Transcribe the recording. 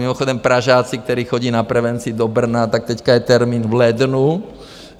Mimochodem Pražáci, kteří chodí na prevenci do Brna, tak teď je termín v lednu.